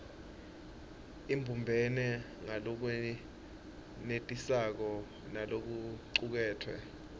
ibumbene ngalokwenetisako nalokucuketfwe